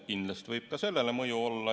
Kindlasti võib sel teatel ka sellele mõju olla.